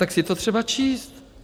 Tak je to třeba číst.